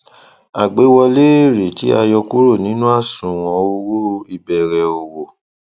àgbéwọlé èrè tí a yọ kúrò nínú àṣùwọn owó ìbẹrẹ òwò